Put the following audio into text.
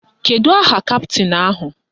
Kedu aha kaptịn ahụ?